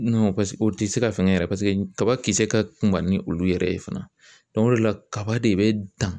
paseke o tɛ se ka fɛngɛ yɛrɛ paseke kaba kisɛ ka kunba ni olu yɛrɛ ye fana o de la kaba de bɛ dan.